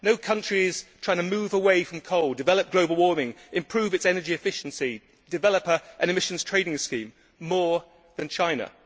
no country is trying to move away from coal, develop global warming, improve its energy efficiency, develop an emissions trading scheme more than China.